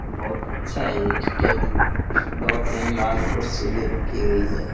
बहुत अच्छा है ये स्टेज भी दो तीन लाल कुर्सी भी रखी हुई है।